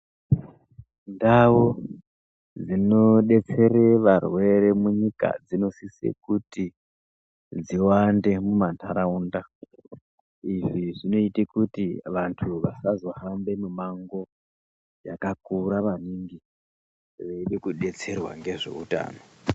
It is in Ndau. Ndau dzinodetsere varwere munyika dzinosise kuti dziwande mumandaraunda , izvi zvinoite kuti vantu vasazohambe mumango yakakura maningi veide kudetserwa nezveutano